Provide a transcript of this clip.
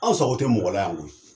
Anw sago te mɔgɔ la yan koyi.